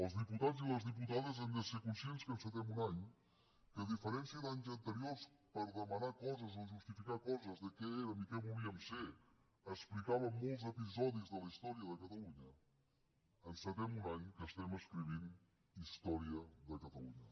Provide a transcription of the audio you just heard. els diputats i les diputades hem de ser conscients que encetem un any en què a diferència d’anys anteriors en què per demanar coses o justificar coses de què érem o què volíem ser explicàvem molts episodis de la història de catalunya encetem un any en què estem escrivint història de catalunya